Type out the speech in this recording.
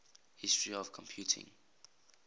history of computing